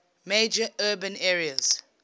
major urban areas